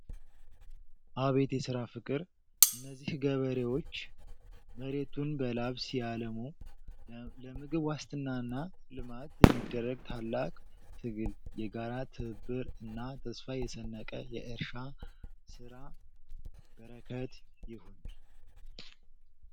አቤት የሥራ ፍቅር! እነዚህ ገበሬዎች መሬቱን በላብ ሲያለሙ! ለምግብ ዋስትናና ልማት የሚደረግ ታላቅ ትግል! የጋራ ትብብር እና ተስፋ የሰነቀ የእርሻ ሥራ! በረከት ይሁን!